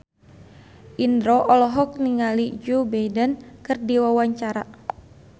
Indro olohok ningali Joe Biden keur diwawancara